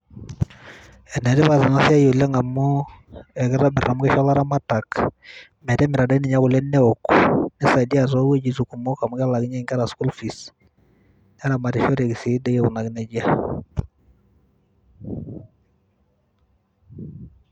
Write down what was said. Ene tipat ena siai amu ekitobiri amu kisho ilaramatak metimira dii ninye kule neok nisaidia toowuejitin kumok amu kishoru school fees neramatishoreki sii dii aikunaki nejia .